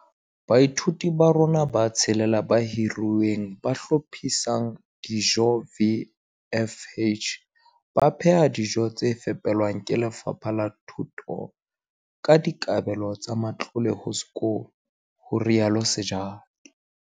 Baithaupi ba rona ba tshelela ba hiruweng ba hlophisang dijo, VFH, ba pheha dijo tse fepelwang ke Lefapha la Thuto ka dikabelo tsa matlole ho sekolo, ho rialo Sejake.